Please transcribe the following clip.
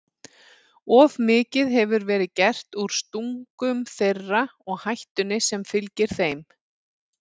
Of mikið hefur verið gert úr stungum þeirra og hættunni sem fylgir þeim.